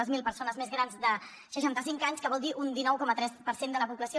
zero persones més grans de seixanta cinc anys que vol dir un dinou coma tres per cent de la població